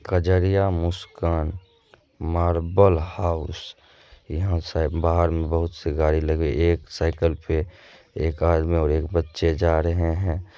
Kajaria Muskan marble house यहाँ शायद बाहर मे बहुत-सी गाड़ी लगी एक साइकल पे एक आदमी और बच्चे जा रहे है।